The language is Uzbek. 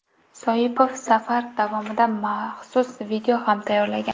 Soipov safar davomida maxsus video ham tayyorlagan.